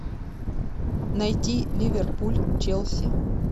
найти ливерпуль челси